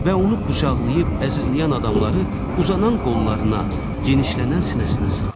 Və onu qucaqlayıb əzizləyən adamları uzanan qollarına, genişlənən sinəsinə sıxdı.